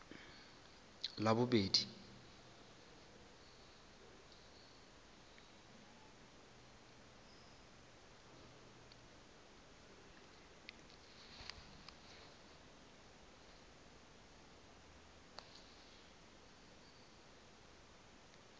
labobedi